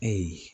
Ayi